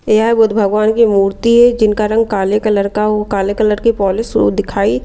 यह बुद्ध भगवान की मूर्ति है जिनका रंग काले कलर का हो काले कलर की पॉलिश दिखाई--